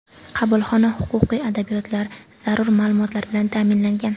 Qabulxona huquqiy adabiyotlar, zarur ma’lumotlar bilan ta’minlangan.